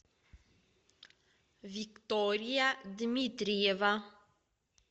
виктория дмитриева